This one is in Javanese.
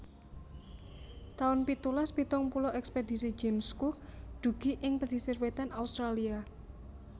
taun pitulas pitung puluh Ekspedisi James Cook dugi ing pesisir wétan Australia